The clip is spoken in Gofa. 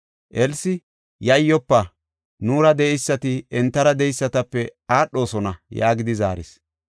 Elsi, “Yayyofa! Nuura de7eysati entara de7eysatape aadhosona” yaagidi zaaris.